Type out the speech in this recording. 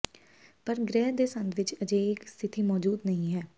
ਪਰ ਗ੍ਰਹਿ ਦੇ ਸੰਦ ਵਿੱਚ ਅਜਿਹੇ ਇੱਕ ਸਥਿਤੀ ਮੌਜੂਦ ਨਹੀ ਹੈ